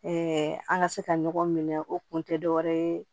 an ka se ka ɲɔgɔn minɛ o kun tɛ dɔ wɛrɛ ye